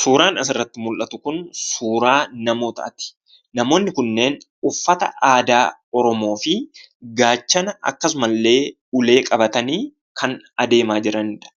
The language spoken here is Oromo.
Suuraan asirratti mul'atu kun suuraa namootaati. Namoonni kunneen uffata aadaa Oromoo fi gaachana akkasumallee ulee qabatanii kan adeemaa jiranidha.